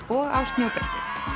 og á snjóbretti